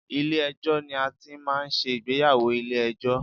Ilé ẹjọ́ ni a ti ń máa ń ṣe ìgbéyàwó ilé ẹjọ́.